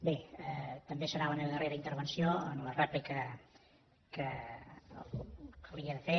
bé també serà la meva darrera intervenció en la rèplica que li he de fer